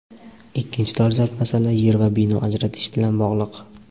Ikkinchi dolzarb masala yer va bino ajratish bilan bog‘liq.